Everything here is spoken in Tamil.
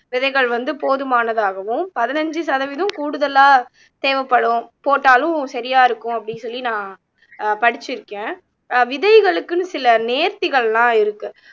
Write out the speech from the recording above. விதைகள் வந்து போதுமானதாகவும் பதினஞ்சு சதவீதம் கூடுதலா தேவைப்படும் போட்டாலும் சரியா இருக்கும் அப்படீன்னு சொல்லி நான் அஹ் படிச்சிருக்கேன் அஹ் விதைகளுக்குன்னு சில நேர்த்திகள் எல்லாம் இருக்கு